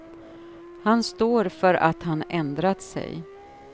Han står för att han ändrat sig.